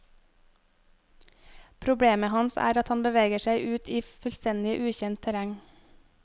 Problemet hans er at han beveger seg ut i fullstendig ukjent terreng.